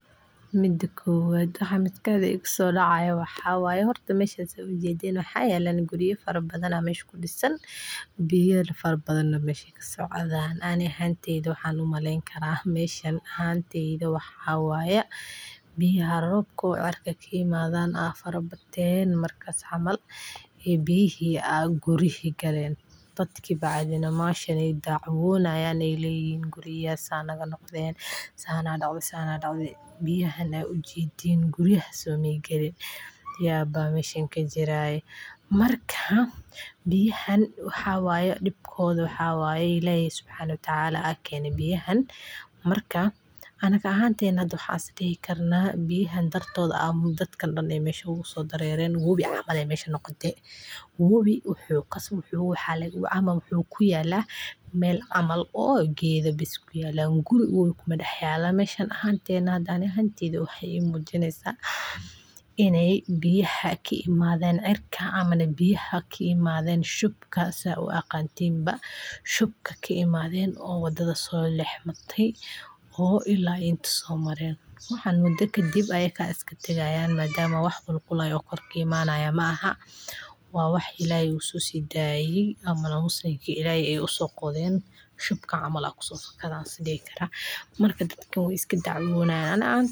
Midi koowad waxay geystaan khasaaro weyn oo nolosha dadka iyo hantida baahiya, sida in ay burburiyaan guryaha, jidadka, beeraha, iyo xoolaha, waxayna keenaan in ay dadku ka baxaan deegaannadoodii, ay gaajo iyo cudurrada ku faafto, ay isku mashquulaan si ay u badbaadaan, ay naftooda iyo qoysaskooda u ilaaliyaan, ay xaaladaha gudaha deegaannadooda u xasilooni waayaan, ay dhaqaalahoodu hoos u dhaco, ay waxbarashadu joojiso, ay caafimaadkoodu sii xumado, ay bulshadu isku dirko, ay shaqooyinku lumaan, ay biyaha qubka ah ee daadsan ay dhirta iyo xayawaanka baabbi’iyaan, ay xannaanada ay ku dhacaan ay korodhsiin karaan cudurrada.